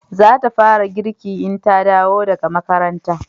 za ta fara girki in ta dawo daga makaranta